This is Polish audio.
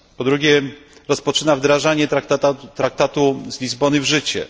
Po drugie, rozpoczyna wdrażanie traktatu z Lizbony w życie.